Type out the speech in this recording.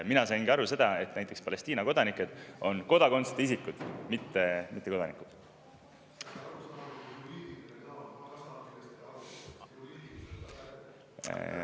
Mina saingi aru, et näiteks Palestiina kodanikud on kodakondsuseta isikud, mitte mittekodanikud.